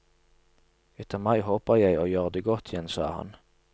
Etter mai håper jeg å gjøre det godt igjen, sa han.